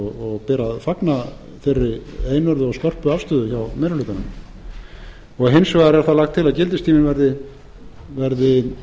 ber að fagna þeirri einörðu og skörpu afstöðu hjá meiri hlutanum hins vegar er lagt til að gildistímanum verði